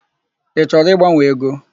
Ị chọrọ ịgbanwe ego?